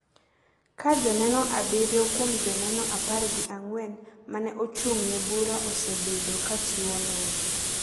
ka joneno abiriyo kuom joneno apar gi ang'wen ma ne ochung’ ne bura osebedo ka chiwo neno.